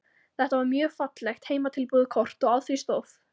Þetta var mjög fallegt heimatilbúið kort og á því stóð